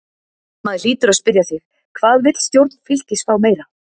Maður hlýtur að spyrja sig: Hvað vill stjórn Fylkis fá meira?